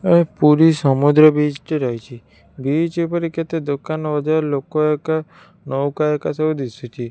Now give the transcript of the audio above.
ଏ ପୁରୀ ସମୁଦ୍ର ବିଚ୍ ଟେ ରହିଛି ବିଚ୍ ଉପରେ କେତେ ଦୋକାନ ବଜାର ଲୋକ ହେକା ନଉକା ହେକା ସବୁ ଦିଶୁଚି ।